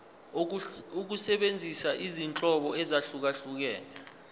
ukusebenzisa izinhlobo ezahlukehlukene